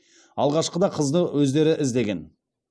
алғашқыда қызды өздері іздеген